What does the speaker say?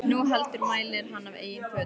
Né heldur mælir hann af eigin hvötum.